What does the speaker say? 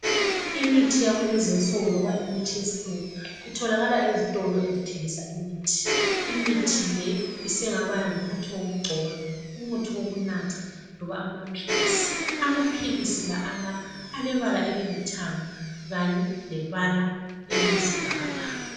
Imithi yakulezinsuku loba imithi yesilungu itholakala ezitolo ezithengisa imithi, Imithi le isingaba ngumuthi wokugcoba, umuthi wokunatha loba amaphilisi. Amaphilisi la ala alebala elilithanga kanye lebala eziyisibhakabhaka.